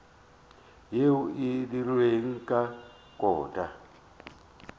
yeo e dirilwego ka kota